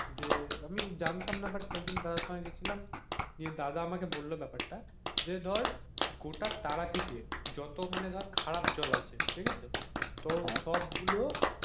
যে আমি জানতাম না সেদিন দাদার সঙ্গে গেছিলামদাদা আমাকে বললো ব্যাপারটা যে ধর গোটা তারাপীঠে যত মানে ধরে খারাপ জল আছে তো সব গুলো